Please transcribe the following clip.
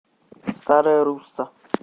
старая русса